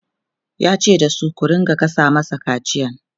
yace da su "ku rinka gasa masa kaciyan!''